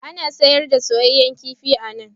Ana sayar da soyayyen kifi a nan.